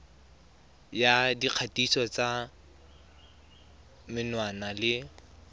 ya dikgatiso tsa menwana le